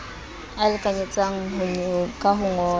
a lekanyetsang ka ho ngolla